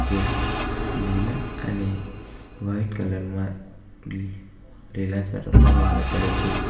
તે લીલા અને વાઈટ કલર માં રિલાયન્સ પેટ્રોલ પંપ એમ લખેલું છે.